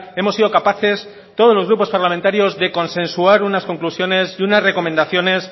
hemos sido capaces todos los grupos parlamentarios de consensuar unas conclusiones y unas recomendaciones